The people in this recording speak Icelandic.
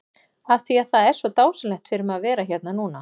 Af því að það er svo dásamlegt fyrir mig að vera hérna núna?